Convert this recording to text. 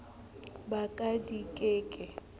ba ka di ke ke